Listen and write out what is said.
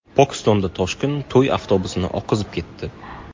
Pokistonda toshqin to‘y avtobusini oqizib ketdi.